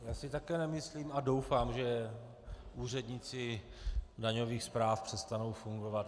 Já si také nemyslím a doufám, že úředníci daňových správ přestanou fungovat.